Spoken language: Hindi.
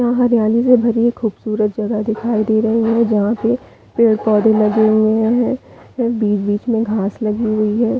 यहाँ हरियाली में भरी एक खूबसूरत जगह दिखाई दे रही है जहाँ पे पेड़-पौधे लगे हुए है और बीच-बीच में घास लगी हुई है।